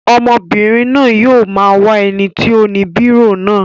Ọmọbìnrin náà yóò máa wá ẹni tí ó ni bírò náà.